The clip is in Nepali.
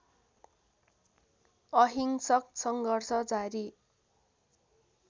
अहिंसक सङ्घर्ष जारी